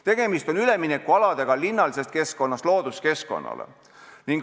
Tegemist on üleminekualadega linnalisest keskkonnast looduskeskkonda.